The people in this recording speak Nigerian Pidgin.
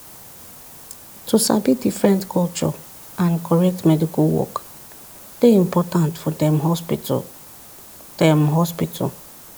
to sabi different culture and correct medical work dey important for dem hospital. dem hospital.